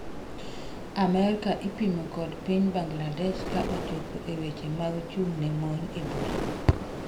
Amerka ipimo kod piny Bangladesh ka ochopo e weche mag chung' ne mon e bura.